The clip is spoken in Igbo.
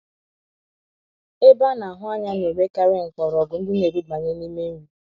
Ebe ana - ahụ anya na - enwekarị mkpọrọgwụ ndị na - erubanye n’ime nri.